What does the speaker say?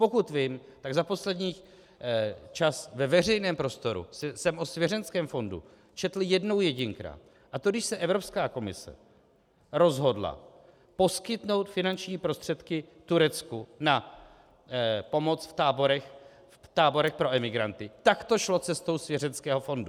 Pokud vím, tak za poslední čas ve veřejném prostoru jsem o svěřeneckém fondu četl jednou jedinkrát, a to když se Evropská komise rozhodla poskytnout finanční prostředky Turecku na pomoc v táborech pro emigranty, tak to šlo cestou svěřeneckého fondu.